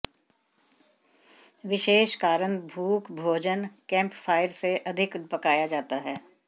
विशेष कारण भूख भोजन कैम्पफ़ायर से अधिक पकाया जाता है